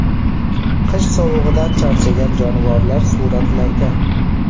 Qish sovug‘idan charchagan jonivorlar suratlarda.